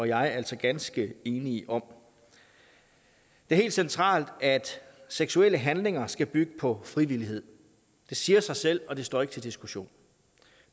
jeg altså ganske enige om det er helt centralt at seksuelle handlinger skal bygge på frivillighed det siger sig selv og det står ikke til diskussion